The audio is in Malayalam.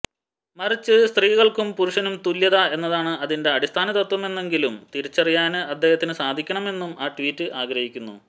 മറിച്ച് സ്ത്രീക്കും പുരുഷനും തുല്യത എന്നതാണ് അതിന്റെ അടിസ്ഥാനതത്വമെന്നെങ്കിലും തിരിച്ചറിയാന് അദ്ദേഹത്തിന് സാധിക്കണമെന്നും ആ ട്വീറ്റ് ആഗ്രഹിക്കുന്നു